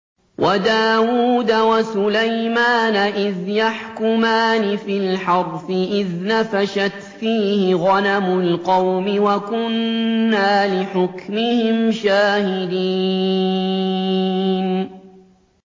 وَدَاوُودَ وَسُلَيْمَانَ إِذْ يَحْكُمَانِ فِي الْحَرْثِ إِذْ نَفَشَتْ فِيهِ غَنَمُ الْقَوْمِ وَكُنَّا لِحُكْمِهِمْ شَاهِدِينَ